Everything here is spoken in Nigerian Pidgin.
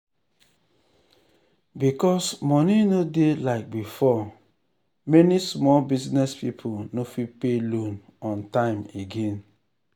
because money no dey like before many small business people no fit pay loan on time again.